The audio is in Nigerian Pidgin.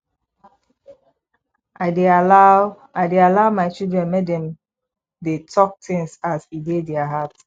i dey allow i dey allow my children make dem dey tok tins as e dey their heart